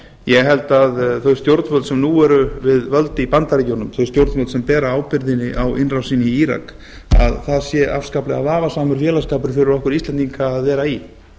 ég held að þau stjórnvöld sem nú eru við völd í bandaríkjunum þau stjórnvöld sem bera ábyrgðina á innrásinni í írak að það sé afskaplega vafasamur félagsskapur fyrir okkur íslendinga að vera í